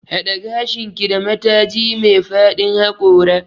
Haɗe gashinki da mataji me fadin haƙora.